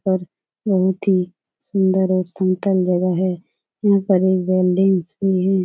पर बहोत ही सुंदर और सिम्पल जगह है यहां पर एक भी है।